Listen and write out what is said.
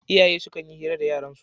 Iyaye sukan yi hira da yaransu